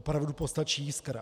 Opravdu postačí jiskra.